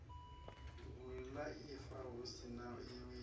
vhulaifa hu si na wili